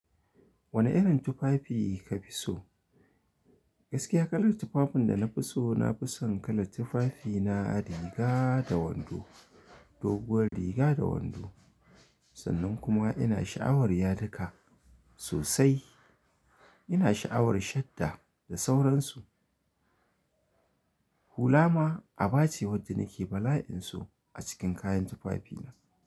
Wane irin tufafi ka fi so? Gaskiya kalar tufafun da na fi so, na fi son kalar tufafi na riga da wando, doguwar riga da wando. Sannan kuma ina sha'awar yadika, sosai. Ina sha'awar shadda da sauransu. Hula ma, a bace wadda nake bala'in so a cikin kayan tufafi na.